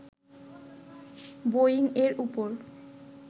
Boeing এর উপর